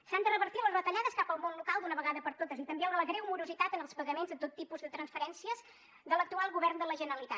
s’han de revertir les retallades cap al món local d’una vegada per totes i també la greu morositat en els pagaments de tot tipus de transferències de l’actual govern de la generalitat